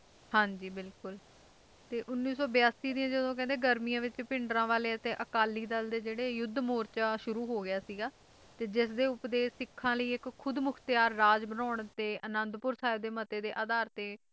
ਹਾਂ ਜੀ ਬਿਲਕੁਲ ਤੇ ਉੱਨੀ ਸੌ ਬਿਆਸੀ ਦੀਆਂ ਗਰਮੀਆਂ ਵਿਚ ਭਿੰਡਰਾਂਵਾਲੇ ਤੇ ਅਕਾਲੀ ਦਲ ਦੇ ਜਿਹੜੇ ਯੁੱਧ ਮੋਰਚਾ ਸ਼ੁਰੂ ਹੋ ਗਿਆ ਸੀਗਾ ਤੇ ਜਿਸਦੇ ਉਪਦੇਸ਼ ਸਿੱਖਾਂ ਦੇ ਇੱਕ ਖੁਦਮੁੱਖਤਿਆਰ ਰਾਜ ਬਣਾਉਣ ਤੇ ਅਨੰਦਪੁਰ ਸਾਹਿਬ ਦੇ ਮਤੇ ਦੇ ਅਧਾਰ ਤੇ